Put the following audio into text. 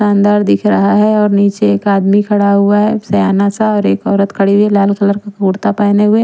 अंदर दिख रहा है और निचे एक आदमी खड़ा हुआ है सयाना सा एक ओरत खड़ी हुई है लाल कलर के कुर्ता पहने हुए।